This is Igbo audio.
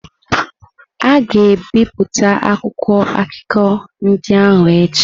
A ga-ebipụta akwụkwọ akụkọ ndị ahụ echi.